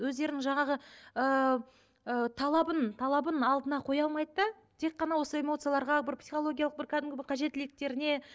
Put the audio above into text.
өздерінің жаңағы ыыы талабын талабын алдына қоя алмайды да тек қана осы эмиоцияларға бір психологиялық бір кәдімгі бір қажеттіліктеріне